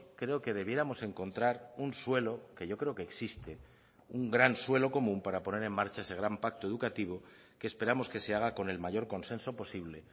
creo que debiéramos encontrar un suelo que yo creo que existe un gran suelo común para poner en marcha ese gran pacto educativo que esperamos que se haga con el mayor consenso posible